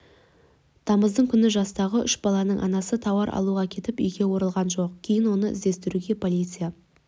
тамыздың күні жастағы үш баланың анасы тауар алуға кетіп үйге оралған жоқ кейін оны іздестіруге полиция